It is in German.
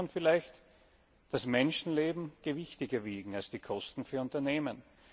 Und da muss man vielleicht das Menschenleben gewichtiger wiegen als die Kosten für Unternehmen.